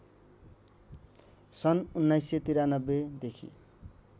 सन् १९९३ देखि